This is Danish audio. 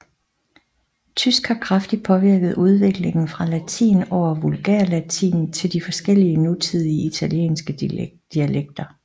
Tysk har kraftigt påvirket udviklingen fra latin over vulgærlatin til de forskellige nutidige italienske dialekter